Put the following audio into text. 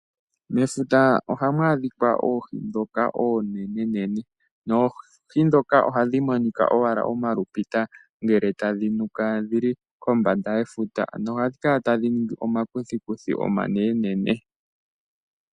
Mefuta ohamu adhikwa oohi dhoka oonenenene, noohi dhoka ohadhi monika owala omalupita ngele tadhi jula dhili kombanda yefuta. Ano ohadhi kala tadhi ningi omakuthikuthi omanenenene.